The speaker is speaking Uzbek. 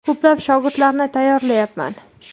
Ko‘plab shogirdlarni tayyorlayapman.